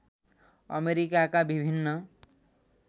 अमेरिकाका विभिन्न